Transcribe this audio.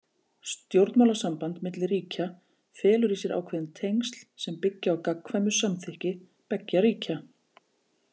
Stjórnmálasamband milli ríkja felur í sér ákveðin tengsl sem byggja á gagnkvæmu samþykki beggja ríkja.